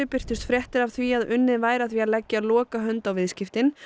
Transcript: birtust fréttir af því að unnið væri að því að leggja lokahönd á viðskiptin